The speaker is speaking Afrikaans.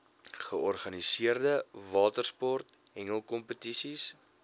georganiseerde watersport hengelkompetisies